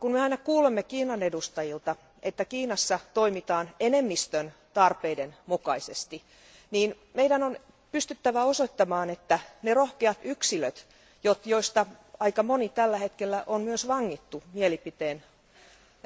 Kun me aina kuulemme Kiinan edustajilta, että Kiinassa toimitaan enemmistön tarpeiden mukaisesti, meidän on pystyttävä osoittamaan, että ne rohkeat yksilöt, joista aika moni tällä hetkellä on myös vangittu